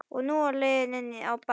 Og nú lá leiðin inn á baðherbergið!